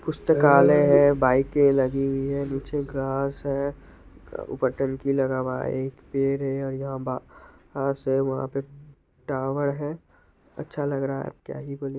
पुस्तकालय है बाईके लगी हुई है। नीचे घास है। ऊपर टंकी लगा हुआ है। एक पेड़ है और यहाँ बा घास है वहाँ पे टावर है अच्छा लग रहा है क्या ही बोले ---